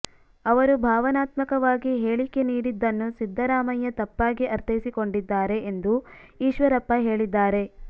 ಅವರು ಭಾವನಾತ್ಮಕವಾಗಿ ಹೇಳಿಕೆ ನೀಡಿದ್ದನ್ನು ಸಿದ್ದರಾಮಯ್ಯ ತಪ್ಪಾಗಿ ಅರ್ಥೈಸಿಕೊಂಡಿದ್ದಾರೆ ಎಂದು ಈಶ್ವರಪ್ಪ ಹೇಳಿದ್ದಾರೆ